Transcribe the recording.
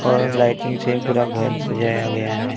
और लाइटिंग से पूरा घर सजाया गया है।